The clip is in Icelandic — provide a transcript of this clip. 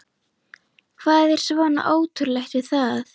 Hvað er svona ótrúlegt við það?